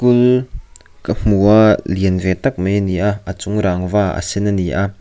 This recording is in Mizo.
school ka hmu a lian ve tak mai ani a a chung rangva a sen ani a.